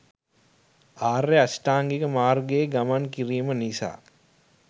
ආර්ය අෂ්ටාංගික මාර්ගයේ ගමන් කිරීම නිසා